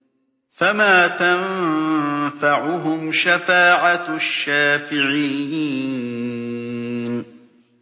فَمَا تَنفَعُهُمْ شَفَاعَةُ الشَّافِعِينَ